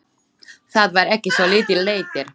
Það var ekki svo lítill léttir.